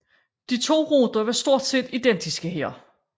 De to ruter var stort set identiske her